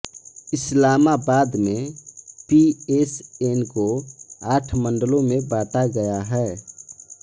इस्लामाबाद में पीएसएन को आठ मण्डलों में बाँटा गया है